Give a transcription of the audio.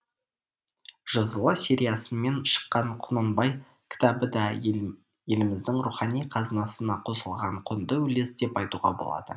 жзл сериясымен шыққан құнанбай кітабы да еліміздің рухани қазынасына қосылған құнды үлес деп айтуға болады